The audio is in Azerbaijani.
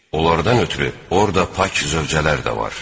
Onlardan ötrü orda pak zövcələr də var.